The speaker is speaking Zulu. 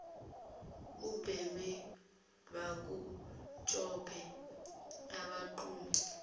ubheme bakutshope bakugqume